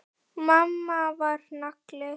Mamma var nagli.